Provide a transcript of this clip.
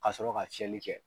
Ka sɔrɔ ka fiyɛli kɛ.